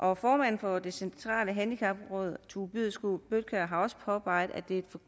har formanden for det centrale handicapråd tue byskov bøtkjær også påpeget at det